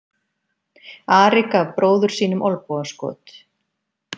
Ari gaf bróður sínum olnbogaskot.